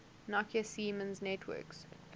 nokia siemens networks